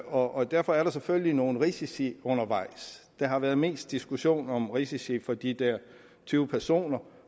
og derfor er der selvfølgelig nogle risici undervejs der har været mest diskussion om risici for de der tyve personer